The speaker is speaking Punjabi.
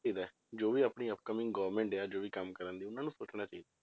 ਚਾਹੀਦਾ, ਜੋ ਵੀ ਆਪਣੀ upcoming government ਆ ਜੋ ਵੀ ਕੰਮ ਕਰਦੀ ਉਹਨਾਂ ਨੂੰ ਸੋਚਣਾ ਚਾਹੀਦਾ,